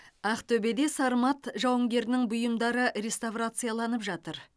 ақтөбеде сармат жауынгерінің бұйымдары реставрацияланып жатыр